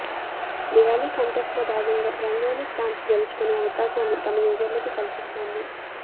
Diwali contest లో భాగంగా rangoli stamps గెలుచుకునే అవకాశాన్ని తమ యూజర్లకు కల్పిస్తోంది